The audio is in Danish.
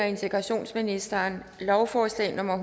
integrationsministeren lovforslag nummer